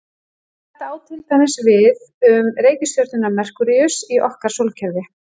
Þetta á til dæmis við um reikistjörnuna Merkúríus í okkar sólkerfi.